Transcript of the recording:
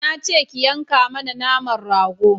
Na ce ki yanka mana naman rago